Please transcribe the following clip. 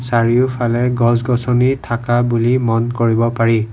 চাৰিওফালে গছ গছনি থাকা বুলি মন কৰিব পাৰি।